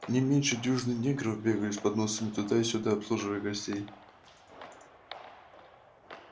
не меньше дюжины негров бегали с подносами туда и сюда обслуживая гостей